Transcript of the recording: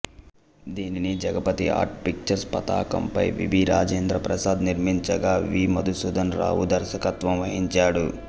దీనిని Jagapathi Art Pictures పతాకంపై VB Rajendra Prasad నిర్మించగా వి మధుసూదన్ రావు దర్శకత్వం వహించాడు